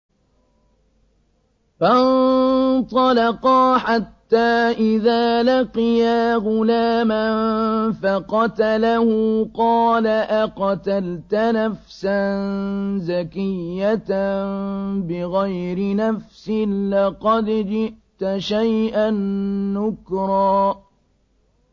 فَانطَلَقَا حَتَّىٰ إِذَا لَقِيَا غُلَامًا فَقَتَلَهُ قَالَ أَقَتَلْتَ نَفْسًا زَكِيَّةً بِغَيْرِ نَفْسٍ لَّقَدْ جِئْتَ شَيْئًا نُّكْرًا